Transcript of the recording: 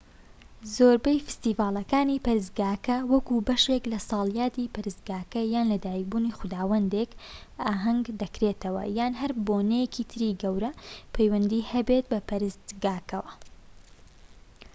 زۆربەی فیستیڤالەکانی پەرستگاکە وەکو بەشێك لە ساڵیادی پەرستگاکە یان لەدایکبوونی خوداوەندێك ئاهەنگ دەکرێتەوە یان هەر بۆنەیەکی تری گەورە پەیوەندی هەبێت بە پەرستگاکەوە